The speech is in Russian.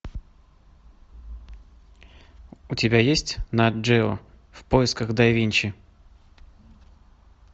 у тебя есть нат джео в поисках да винчи